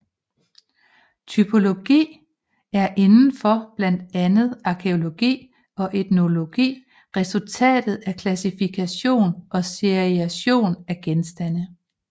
Typologi er inden for blandt andet arkæologi og etnologi resultatet af klassifikation og seriation af genstande